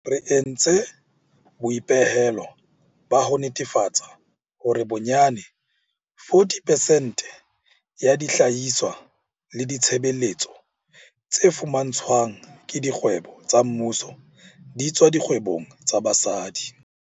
Re entse boipehelo ba ho netefatsa hore bonyane 40 percent ya dihlahiswa le ditshebeletso tse fumantshwang ke dikgwebo tsa mmuso di tswa dikgwebong tsa basadi.